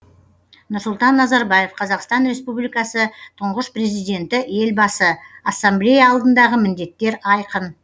нұрсұлтан назарбаев қазақстан республикасы тұңғыш президенті елбасы ассамблея алдындағы міндеттер айқын